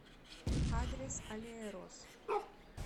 адрес аллея роз